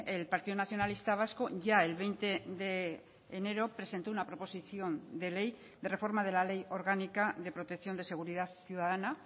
el partido nacionalista vasco ya el veinte de enero presentó una proposición de ley de reforma de la ley orgánica de protección de seguridad ciudadana